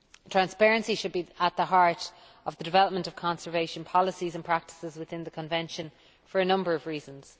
Transparency should be at the heart of the development of conservation policies and practices within the Convention, for a number of reasons.